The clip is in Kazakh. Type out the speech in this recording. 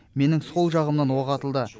менің сол жағымнан оқ атылды